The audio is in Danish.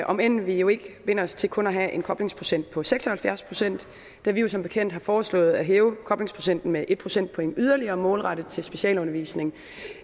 om end vi jo ikke binder os til kun at have en koblingsprocent på seks og halvfjerds pct da vi jo som bekendt har foreslået at hæve koblingsprocenten med et procentpoint yderligere målrettet til specialundervisning